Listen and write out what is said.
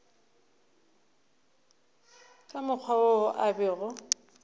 ka mokgwa wo a bego